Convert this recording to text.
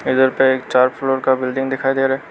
इधर पे एक चार फ्लोर की बिल्डिंग दिखाई दे रहा है।